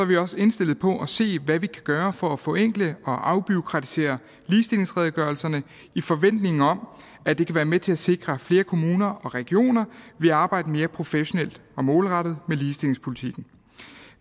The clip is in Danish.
vi også indstillet på at se hvad vi kan gøre for at forenkle og afbureaukratisere ligestillingsredegørelserne i forventningen om at det kan være med til at sikre at flere kommuner og regioner vil arbejde mere professionelt og målrettet med ligestillingspolitikken